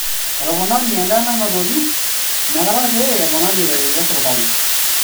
Etoponari endaa nanotoki inakata pee eponari eretoto e serkali.